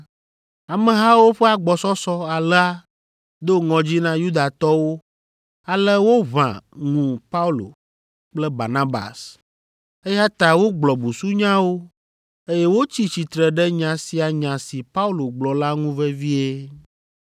Amehawo ƒe agbɔsɔsɔ alea do ŋɔdzi na Yudatɔwo ale woʋã ŋu Paulo kple Barnabas, eya ta wogblɔ busunyawo, eye wotsi tsitre ɖe nya sia nya si Paulo gblɔ la ŋu vevie.